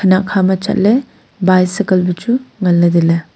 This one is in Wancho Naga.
kanak akha ma chatle bycycle chu nganle taile.